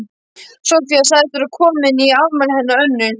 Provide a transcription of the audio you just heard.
Soffía sagðist vera komin í afmælið hennar Önnu.